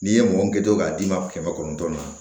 N'i ye mɔgɔ min kɛ to k'a d'i ma kɛmɛ kɔnɔntɔn na